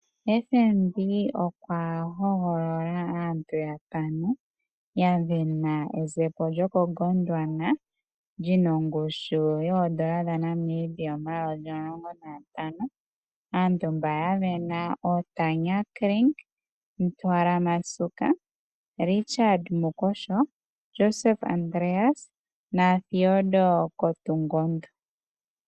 FNB okwa hogololola aantu yatano ya sindana ezepo lyokoGondwana lina ongushu yoodola dhaNamibia omayovi omulongo nagatano. Aantu mba ya sindana oyo Tanya Kring, Ntwala Masuka, Richard Mukosho, Josef Andreas na Theodore Kotungondo.